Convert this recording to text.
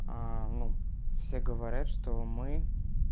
ну все говорят что мы